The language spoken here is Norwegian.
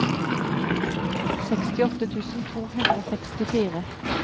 sekstiåtte tusen to hundre og sekstifire